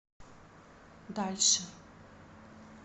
дальше